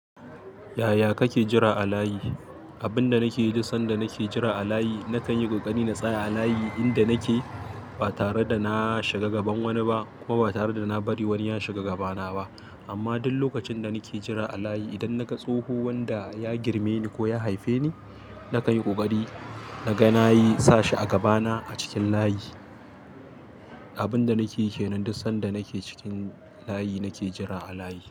Yaya kake jira a layi? Abin da nake yi duk sanda nake jira a layi, na kan yi ƙoƙari na tsaya a layi inda nake ba tare da na shiga gaban wani ba kuma ba tare da na bari wani ya shiga gabana ba. Amma duk lokacin da nake jira a layi, idan na ga tsoho wanda ya girme ni ko ya haife ni, na kan yi ƙoƙari naga na yi sa shi a gabana a cikin layi. Abin da nake yike nan duk sanda nake cikin layi, nake jira a layi.